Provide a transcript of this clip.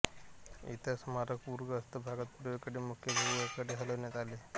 इतर स्मारक पूरग्रस्त भागात पूर्वेकडील मुख्य भूभागाकडे हलविण्यात आले